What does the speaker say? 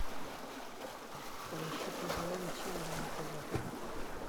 поищи твм ченел на тв